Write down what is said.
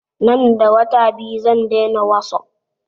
Nan da wata biyu zan daina wasup